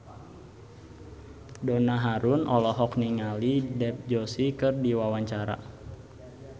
Donna Harun olohok ningali Dev Joshi keur diwawancara